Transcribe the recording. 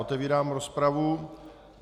Otevírám rozpravu.